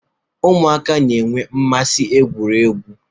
Ụmụaka na-enwe mmasị igwu egwu